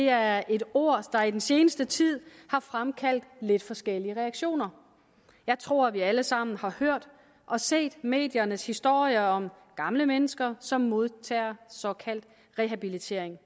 er et ord der i den seneste tid har fremkaldt lidt forskellige reaktioner jeg tror at vi alle sammen har hørt og set mediernes historier om gamle mennesker som modtager såkaldt rehabilitering